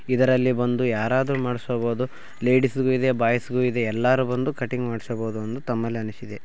ಇದರಲ್ಲಿ ಬಂದು ಯಾರಾದ್ರೂ ಮಾಡಿಸ್ಕೋಬಹುದು. ಲೇಡಿಸ್‌ ಗೂ ಇದೆ ಬಾಯ್ಸ್‌ ಗೂ ಇದೆ. ಎಲ್ಲರೂ ಬಂದು ಕಟ್ಟಿಂಗ್‌ ಮಾಡಿಸ್ಕೋಬಹುದು ಎಂದು ತಮ್ಮಲ್ಲಿ ಅನಿಸಿದೆ .